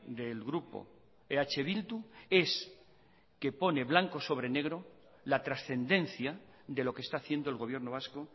del grupo eh bildu es que pone blanco sobre negro la trascendencia de lo que está haciendo el gobierno vasco